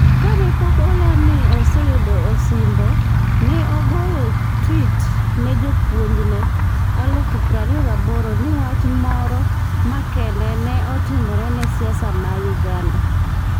Kane pok oland ni oseyudo osimbo, ne ogoyo tweet ne jolupne 28,000 ni wach moro makende ne otimore ne siasa ma Uganda.